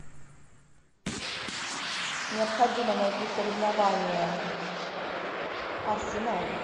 необходимо найти соревнование арсенал